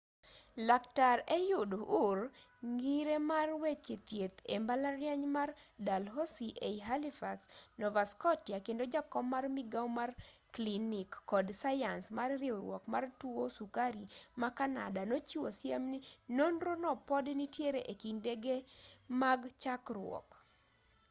laktar ehud ur ngire mar weche thieth e mbalariany mar dalhousie ei halifax nova scottia kendo jakom mar migao mar klinik kod sayans mar riwruok mar tuo sukari ma kanada nochiwo siem ni nonro no pod nitiere e kindege mag chakruok